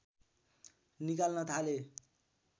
निकाल्न थाले